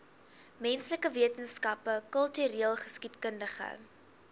menslike wetenskappe kultureelgeskiedkundige